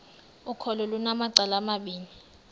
ukholo lunamacala amabini